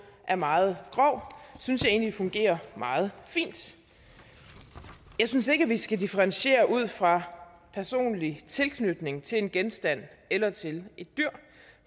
er meget grov synes jeg egentlig fungerer meget fint jeg synes ikke at vi skal differentiere ud fra personlig tilknytning til en genstand eller til et dyr